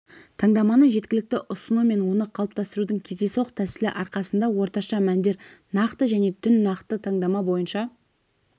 таңдаманы жеткілікті ұсыну мен оны қалыптастырудың кездейсоқ тәсілі арқасында орташа мәндер нақты және түн нақты таңдама бойынша